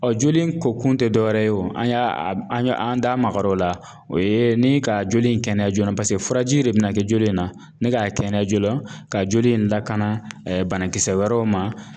Ɔ joli in ko kun tɛ dɔwɛrɛ ye o an y'a an y'a an da magar'o la o ye ni ka joli in kɛnɛya joona furaji de bɛna kɛ joli in na nin k'a kɛnɛya joona ka joli in lakana banakisɛ wɛrɛw ma